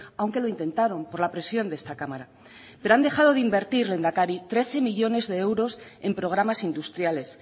aunque lo intentaron por la presión de esta cámara pero han dejado de invertir lehendakari trece millónes de euros en programas industriales